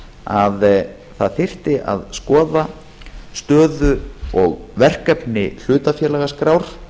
að það þyrfti að skoða stöðu og verkefni hlutafélagaskrár